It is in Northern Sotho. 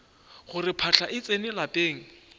gore phahla e tsene lapeng